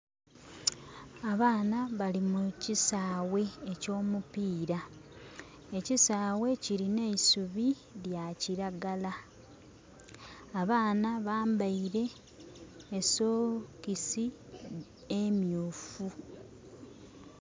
Abaana bali mukisaghe ekyomupira. Ekisaghe kilinha eisubi lya kilagala. Abaana bambaire esokisi myufu.